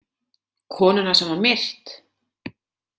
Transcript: Konuna sem var myrt?